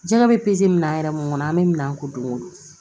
Jɛgɛ bɛ pezeli minɛ an yɛrɛ mun kɔnɔ an bɛ minan ko don o don